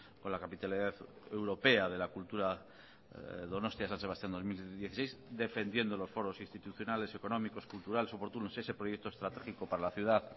con la capitalidad europea de la cultura donostia san sebastián dos mil dieciséis defendiendo los foros institucionales económicos culturales oportunos ese proyecto estratégico para la ciudad